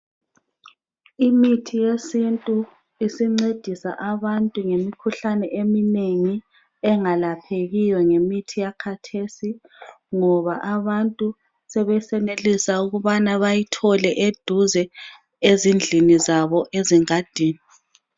Imithi yesintu isincedisa abantu ngemikhuhlane eminengi engalaphekiyo ngemithi yakathesi ngoba abantu abanengi sebesenelisa ukubana bayithole eduze ezindlini zabo ezingadini.